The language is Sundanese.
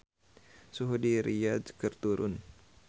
Suhu di Riyadh keur turun